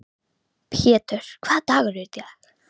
Hann verður útundan og síðastur inn.